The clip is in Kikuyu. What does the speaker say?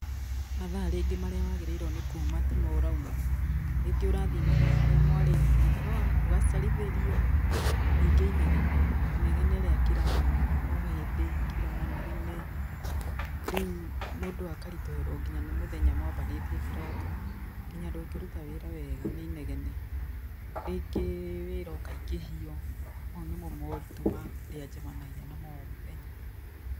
Mathaa rĩngĩ marĩa wagĩrĩirwo nĩ kuuma timo ũrauma. Rĩngĩ ũrathiĩ mathaa marĩa mwarĩtie no ũgacerithĩrio. Ningĩ inegene, inegene rĩa kira o hindĩ, kira manegene. Riũ mũndũ akaritũhĩrwo nginya nĩ mũthenya, mwambanĩtie kĩroko. Nginya ndũngĩruta wĩra wega, nĩ inegene. Ringĩ wĩra ũkaingĩhio. Mau nĩmo moritũ marĩa njemanagia namo, o mũthenya.